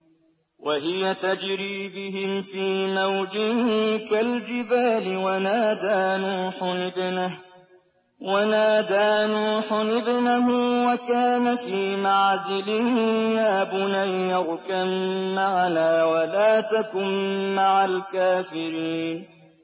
وَهِيَ تَجْرِي بِهِمْ فِي مَوْجٍ كَالْجِبَالِ وَنَادَىٰ نُوحٌ ابْنَهُ وَكَانَ فِي مَعْزِلٍ يَا بُنَيَّ ارْكَب مَّعَنَا وَلَا تَكُن مَّعَ الْكَافِرِينَ